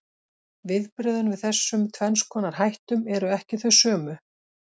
Viðbrögðin við þessum tvenns konar hættum eru ekki þau sömu.